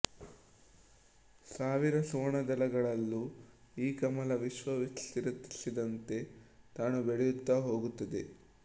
ಸಾವಿರ ಸುವರ್ಣದಳಗಳುಳ್ಳ ಈ ಕಮಲ ವಿಶ್ವ ವಿಸ್ತರಿಸಿದಂತೆ ತಾನೂ ಬೆಳೆಯುತ್ತಾ ಹೋಗುತ್ತದೆ